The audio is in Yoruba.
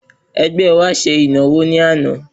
Ẹgbẹ́ wa ṣe ìnáwó ní àná.